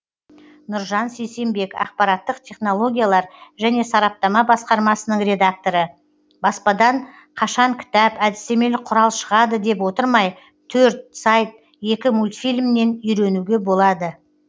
нұржан сейсембек ақпараттық технологиялар және сараптама басқармасының редакторы баспадан қашан кітап әдістемелік құрал шығады деп отырмай төрт сайт екі мультфильмнен үйренуге болады